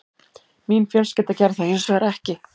Mín fjölskylda gerði það hins vegar ekki